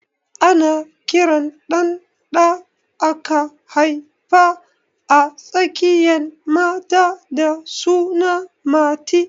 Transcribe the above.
Ana kiran ɗan da aka haifa a tsakiyan mata da suna Mati